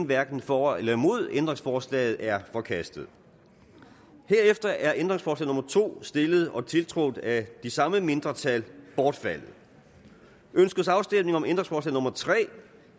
hverken for eller imod ændringsforslaget er forkastet herefter er ændringsforslag nummer to stillet og tiltrådt af de samme mindretal bortfaldet ønskes afstemning om ændringsforslag nummer tre